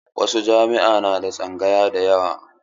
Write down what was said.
Wasu jami'a na da tsangaya da yawa.